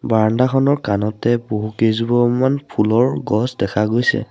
বাৰাণ্ডাখনৰ কাণতে বহু কেইজোপামান ফুলৰ গছ দেখা গৈছে।